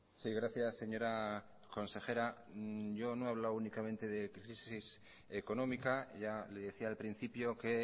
sí gracias señora consejera yo no he hablado únicamente de crisis económica ya lo decía al principio que